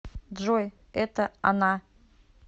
джой это она